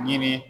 Yiri